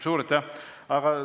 Suur aitäh!